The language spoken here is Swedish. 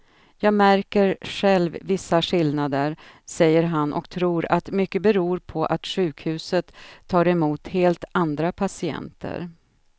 Jag märker själv vissa skillnader, säger han och tror att mycket beror på att sjukhuset tar emot helt andra patienter.